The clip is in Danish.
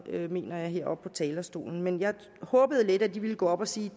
mener jeg heroppe fra talerstolen men jeg håbede lidt at de ville gå op og sige